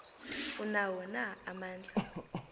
anawo na amandla